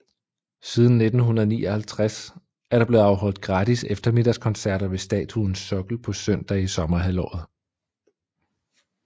Siden 1959 er der blevet afholdt gratis eftermiddagskoncerter ved statuens sokkel på søndage i sommerhalvåret